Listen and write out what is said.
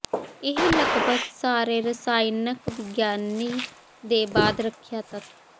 ਇਹ ਲਗਭਗ ਸਾਰੇ ਰਸਾਇਣਕ ਵਿਗਿਆਨੀ ਦੇ ਬਾਅਦ ਰੱਖਿਆ ਤੱਤ